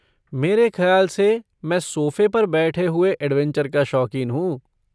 मेरे खयाल से मैं सोफ़े पर बैठे हुए ऐड्वेंचर का शौकीन हूँ!